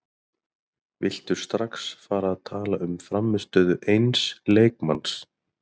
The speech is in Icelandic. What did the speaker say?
Viltu strax fara að tala um frammistöðu eins leikmanns?